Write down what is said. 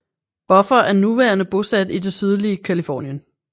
Buffer er nuværende bosat i det sydlige Californien